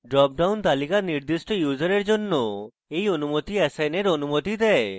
dropdown তালিকা নির্দিষ্ট ইউসারের জন্য এই অনুমতি অ্যাসাইনের অনুমতি দেয়